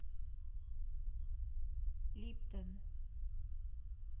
липтон